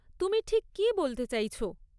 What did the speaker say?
তুমি ঠিক কী বলতে চাইছ?